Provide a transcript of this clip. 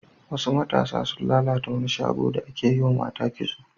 Wasu matasa sun lalata wani shago da ake yiwa mata kitso.